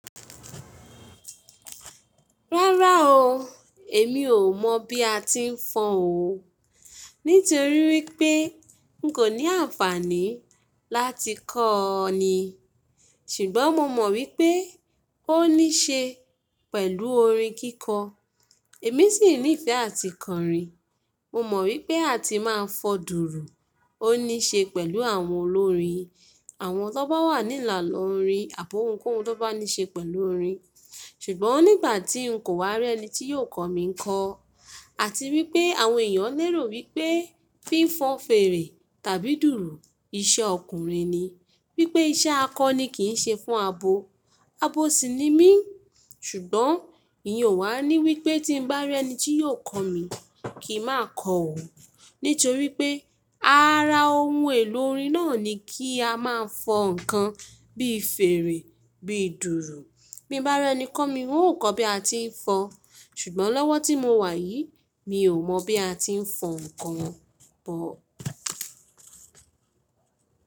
Rárá o, èmi ò mọ̀ bí a ti ń fọ́n o. Nítorí wípé n kò ní àǹfàní láti kọ́ ọ ni. Ṣùgbọ́n mo mọ̀ wípé ó níṣe pẹ̀lú orin kíkọ. Èmi sì ní ìfẹ́ àti kọrin. Mo mọ̀ wípé a ti máa ń fọ́ dùùrù, ó níṣe pẹ̀lú àwọn olórin. Àwọn tó bá wà nílàlọ́rin àbó ohunkóhun tó bá níṣe pẹ̀lú orin. Ṣùgbọ́n nígbà tí n kò wá rí ẹni tí yóò kọ̀ mí ń kọ. Àti wípé àwọn èèyàn ń lérò wípé fí ń fọn fèere tàbí dùùrù iṣẹ́ ọkùnrin ni. Wípé iṣẹ́ akọni kì ń ṣe fún abo. Abo sì ni mí. Ṣùgbọ́n iyen o wà ní wípé tí ń bá rí ẹni tí yóò kọ̀ mí kì má kọ ò o. Nítorí pé ara ohun èlò orin náà ni kí a máa ń fọn ǹkan bí fèrè, bí dùùrù. Bí mo bá rí ẹni kọ̀ mí, n ó kọ́ bí a ti ń fọ́n. Ṣùgbọ́n lọ́wọ́ tí mo wà yìí, mi ò mọ̀ bí a ti ń fọn ǹkan bọ̀